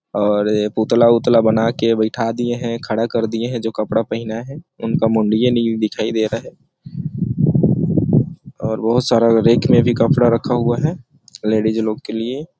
और ये पुतला-वुतला बनाके बइठा दिए है खड़ा कर दिए है जो कपडा पहना है इनका मुंडिये नइ दिखाई दे रहा है और बहुत सारा रेक मै भी कपड़ा रखा हुआ है लेडीज लोग के लिए।